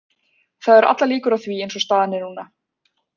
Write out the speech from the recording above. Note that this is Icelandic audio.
Það eru allar líkur á því eins og staðan er núna.